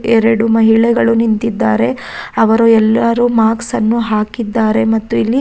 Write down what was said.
ಎರಡು ಮಹಿಳೆಗಳು ನಿಂತಿದ್ದಾರೆ ಅವರು ಎಲ್ಲರು ಮಾಸ್ಕನ್ನು ಹಾಕಿದ್ದಾರೆ ಮತ್ತೆ ಇಲ್ಲಿ --